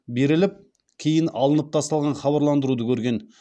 беріліп кейін алынып тасталған хабарландыруды көрген